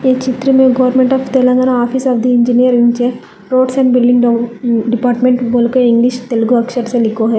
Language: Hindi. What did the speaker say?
ये चित्र में government of Telangana office of the engineer है रोड्स एंड बिल्डिंग डिपार्टमेंट बोल के इंग्लिश तेलगु अक्षर से लिखो है।